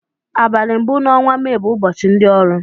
Abali mbu na ọnwa may bu ụbọchi ndi ọrụ